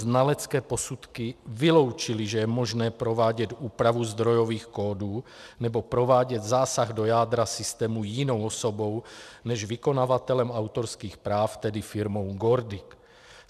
Znalecké posudky vyloučily, že je možné provádět úpravu zdrojových kódů nebo provádět zásah do jádra systému jinou osobou než vykonavatelem autorských práv, tedy firmou GORDIC.